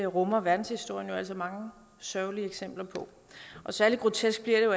rummer verdenshistorien jo altså mange sørgelige eksempler på og særlig grotesk bliver det jo